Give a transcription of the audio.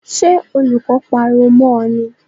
Sé olùkó pariwo mó o ni?